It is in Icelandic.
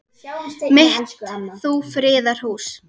mitt þú friðar hús.